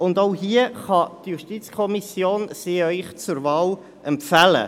Auch sie kann Ihnen die JuKo zur Wahl empfehlen.